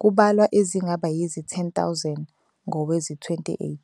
kubalwa ezingaba yizi-10,000 ngowezi-2018.